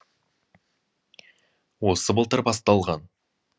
осы былтыр басталған